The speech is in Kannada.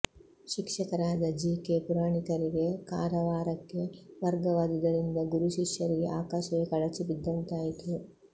ಶಿಕ್ಷಕರಾದ ಜಿ ಕೆ ಪುರಾಣಿಕರಿಗೆ ಕಾರವಾರಕ್ಕೆ ವರ್ಗವಾದುದರಿಂದ ಗುರು ಶಿಷ್ಯರಿಗೆ ಆಕಾಶವೆ ಕಳಚಿ ಬಿದ್ದಂತಾಯ್ತು